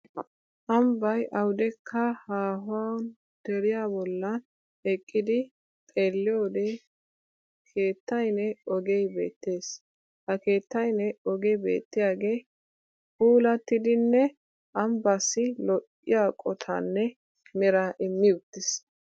Ambbay awudekka haahuwan deriya bollan eqqidi xeelliyoode keettayinne ogee beettes. Ha keettayinne ogee beettiyaagee puulattidinne ambbaassi lo'iya qottaanne meraa immi uttis.